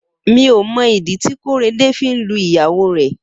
Mi ó mọ idi ti Korede fi n lú ìyáwó rẹ